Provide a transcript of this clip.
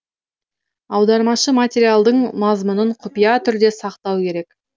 аудармашы материалдың мазмұнын құпия түрде сақтау керек